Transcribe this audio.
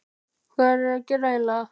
Hvað erum við að gera eiginlega?